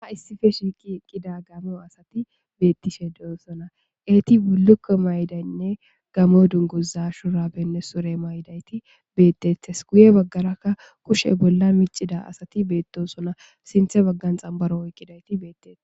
Ha issippe shiiqi eqida gamo asati betishe de'eosona eti bulukko mayidaynne gamo duguza shurabenne sure mayidati betetes guye bagara kushe bolla micida asati betosona sinthe bagan xanbaro oykidayti betetes